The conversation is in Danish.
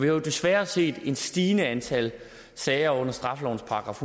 jo desværre set et stigende antal sager under straffelovens §